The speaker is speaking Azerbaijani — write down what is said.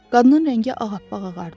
Qadının rəngi ağappaq ağardı.